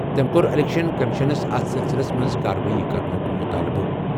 تٔمۍ کوٚر الیکشن کمیشنَس اتھ سلسلَس منٛز کاروٲیی کرنُک مُطالبہٕ۔